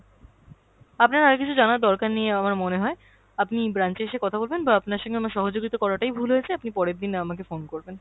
আপনার আর কিছু জানার দরকার নেই আমার মনে হয়, আপনি branch এ এসে কথা বলবেন বা আপনার সঙ্গে আমার সহযোগিতা করাটাই ভুল হয়েছে, আপনি পরের দিন আমাকে phone করবেন।